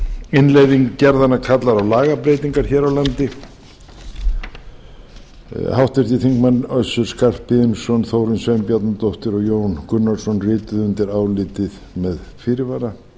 innleiðing gerðanna kallar á lagabreytingar hér á landi háttvirtur þingmaður össur skarphéðinsson þórunn sveinbjarnardóttir og jón gunnarsson rita undir álitið með fyrirvara